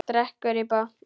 Drekkur í botn.